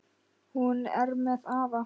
Hún er með afa.